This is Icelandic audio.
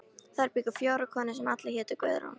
Þar bjuggu fjórar konur sem allar hétu Guðrún.